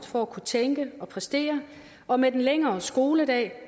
for at kunne tænke og præstere og med den længere skoledag